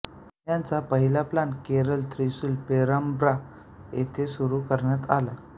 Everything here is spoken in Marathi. याचा पहिला प्लांट केरळ थ्रीसुर पेरंब्रा येथे सुरू करण्यात आला